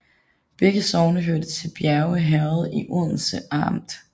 Begge sogne hørte til Bjerge Herred i Odense Amt